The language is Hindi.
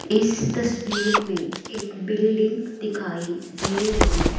इस तस्वीर में एक बिल्डिंग दिखाई दे रही है।